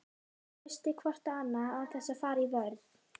Hlustið hvort á annað án þess að fara í vörn.